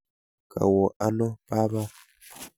Kawo ano baba?